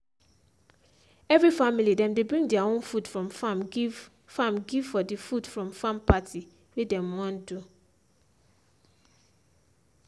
every family dem dey bring their own food from farm give farm give for the food from farm party wey dem wan do.